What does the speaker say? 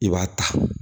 I b'a ta